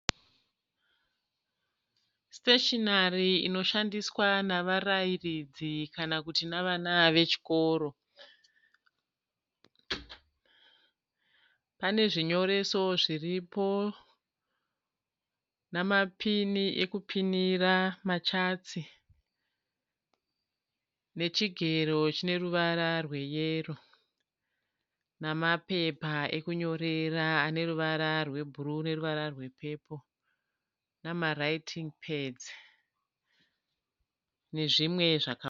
Siteshinari inoshandiswa navarairidzi kana kuti nevana vechikoro. Pane zvinyoreso zviripo. Namapini ekupinira machatsi. Nechigero chineruvara rweyero. Namapepa ekunyorera aneruvara rwebhuruwu neruvara rwepepoo, namaraitin'i pedzi. Nezvimwe.